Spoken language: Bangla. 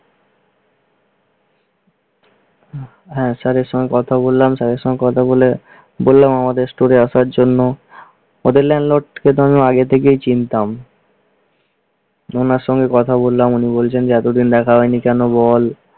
হ্যা স্যারের সঙ্গে কথা বললাম, স্যারের সঙ্গে কথা বলে বললাম আমাদের store আসার জন্য ওদের সেটা আমি আগে থেকেই চিনতাম। ওনার সঙ্গে কথা বললাম, উনি বলছেন যে, এতোদিন দেখা হয়নি কেন বল